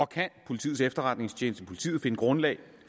kan politiets efterretningstjeneste og politiet finde grundlag